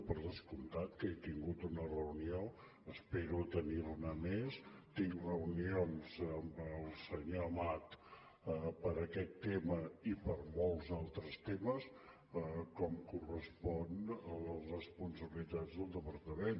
per descomptat que he tingut una reunió espero tenir ne més tinc reunions amb el senyor amat per aquest tema i per molts altres temes com correspon a les responsabilitats del departament